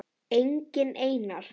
Enginn Einar